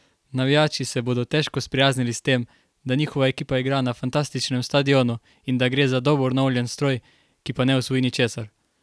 Navijači se bodo težko sprijaznili s tem, da njihova ekipa igra na fantastičnem stadionu in da gre za dobro naoljen stroj, ki pa ne osvoji ničesar.